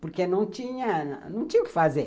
Porque não tinha, não tinha o que fazer.